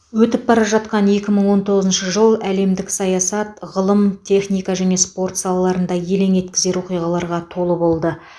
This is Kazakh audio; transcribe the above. өтіп бара жатқан екі мың он тоғызыншы жыл әлемдік саясат ғылым техника және спорт салаларында елең еткізер оқиғаларға толы болды